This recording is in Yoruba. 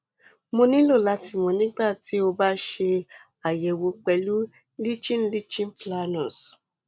mo nilo lati mọ nigbati o ba ṣe ayẹwo pẹlu lichen lichen planus